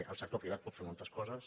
el sector privat pot fer moltes coses